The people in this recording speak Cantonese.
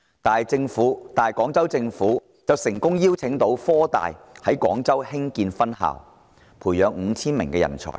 反觀廣州市政府卻成功邀得科大到廣州開設分校，培養 5,000 名人才。